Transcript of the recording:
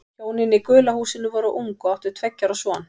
Hjónin í gula húsinu voru ung og áttu tveggja ára son.